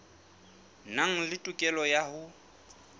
nang le tokelo ya ho